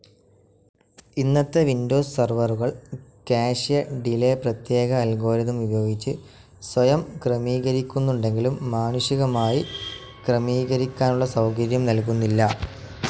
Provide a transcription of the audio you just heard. ഇന്നത്തെ വിൻഡോസ്‌ സെർവ്വറുകൾ, ക്യാഷെ ഡിലെ പ്രത്യേക അൽഗോറിതം ഉപയോഗിച്ച് സ്വയം ക്രമീകരിക്കുന്നുണ്ടെങ്കിലും മാനുഷികമായി ക്രമീകരിക്കാനുള്ള സൗകര്യം നൽകുന്നില്ല.